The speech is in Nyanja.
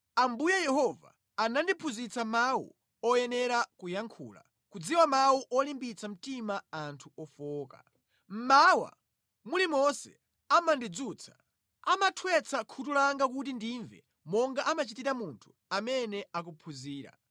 Ambuye Yehova anandiphunzitsa mawu oyenera kuyankhula kudziwa mawu olimbitsa mtima anthu ofowoka. Mmawa mulimonse amandidzutsa, amathwetsa khutu langa kuti ndimve monga amachitira munthu amene akuphunzira.